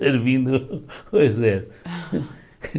Servindo o